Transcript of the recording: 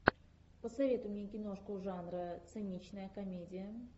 посоветуй мне киношку жанра циничная комедия